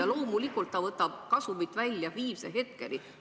Ja loomulikult nad võtavad kasumi välja viimse hetkeni.